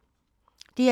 DR2